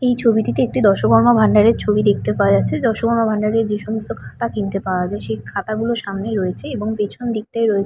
এই ছবিটিতে একটি দশকর্মা ভান্ডার এর ছবি দেখতে পাওয়া যাচ্ছে দশকর্মা ভান্ডার এর যে সমস্ত খাতা কিনতে পাওয়া যায় সেই খাতাগুলো সামনে রয়েছে এবং পেছন দিকটায় রয়ে--